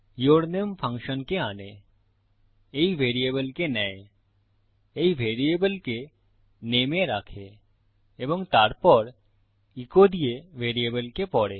ইউরনামে ফাংশনকে আনে এই ভ্যারিয়েবলকে নেয় এই ভ্যারিয়েবলকে নামে এ রাখে এবং তারপর ইকো দিয়ে ভ্যারিয়েবলকে পড়ে